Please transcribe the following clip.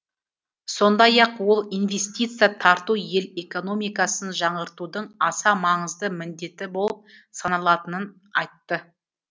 сондай ақ ол инвестиция тарту ел экономикасын жаңғыртудың аса маңызды міндеті болып саналатынын айтты